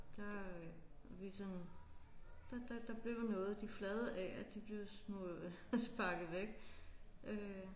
Der vi sådan der der der blev noget. De flade A'er de blev sparket væk øh